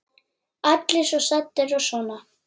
Allir svo saddir og svona.